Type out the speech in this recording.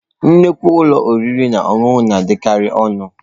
Nnukwu ụlọ oriri na ọṅụṅụ na-adịkarị ọnụ.